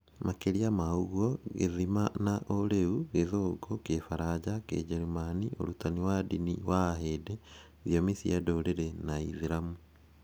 Makĩria ma ũguo, Gĩthima na Ũrĩu, Gĩthũngũ, Kĩbaranja, Kĩnjĩrĩmani, Ũrutani wa Ndini wa Ahindu, Thiomi cia Ndũrĩrĩ na Ũislamu